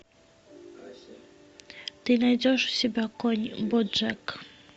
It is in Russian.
ты найдешь у себя конь боджек